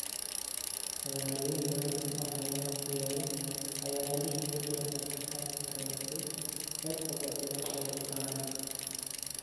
Magaalooyin badan oo xeebaha ku yaal ayaa halis ugu jira fatahaad ka dhalatay heerka badda oo sare u kacay.